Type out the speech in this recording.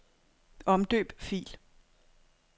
Omdøb fil.